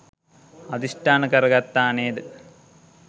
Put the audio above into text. අධිෂ්ඨාන කරගත්තා නේද?